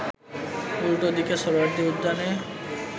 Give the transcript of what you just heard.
উল্টো দিকে সোহরাওয়ার্দী উদ্যানে